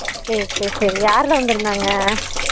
சேர் சேரி சேரி யாரெல்லாம் வந்திருந்தாங்க